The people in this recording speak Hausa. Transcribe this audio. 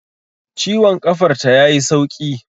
Ciwon ƙafar ta ya yi sauƙi